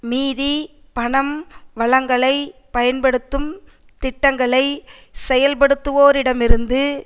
மீதி பணம் வளங்களை பயன்படுத்தும் திட்டங்களை செயல்படுத்துவோரிடமிருந்து